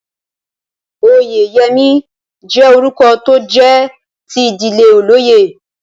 Oyèyẹmí jẹ́ orúkọ tó jẹ́ ti ìdílé olóyè